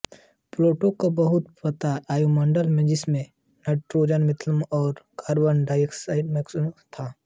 Pluto का बहुत पतला वायुमंडल है जिसमें नाइट्रोजन मीथेन और कार्बन मोनोऑक्साईड है